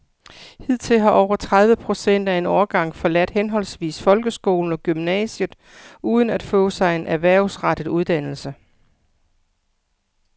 Hidtil har over tredive procent af en årgang forladt henholdsvis folkeskolen og gymnasiet uden at få sig en erhvervsrettet uddannelse.